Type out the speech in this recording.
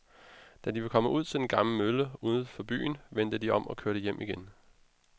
Da de var kommet ud til den gamle mølle uden for byen, vendte de om og kørte hjem igen.